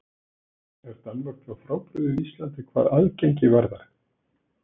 Er Danmörk þá frábrugðin Íslandi hvað aðgengi varðar?